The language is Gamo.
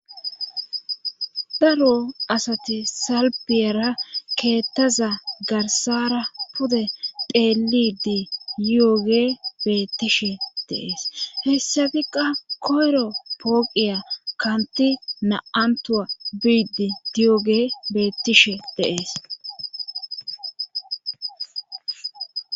Daro asati salbiyara keettaza garsara pude deelidi yoge bettishe deees hessabikqa koyro pooqiya kanti na7antua biidi diyoge beettishe deees.